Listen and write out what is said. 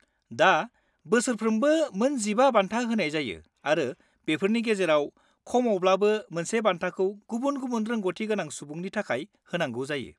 -दा बोसोरफ्रोमबो मोन 15 बान्था होनाय जायो आरो बेफोरनि गेजेराव खमावब्लाबो मोनसे बान्थाखौ गुबुन गुबुन रोंग'थि गोनां सुबुंनि थाखाय होनांगौ जायो।